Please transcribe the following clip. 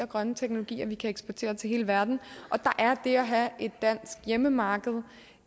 grønne teknologier vi kan eksportere til hele verden og der er det at have et dansk hjemmemarked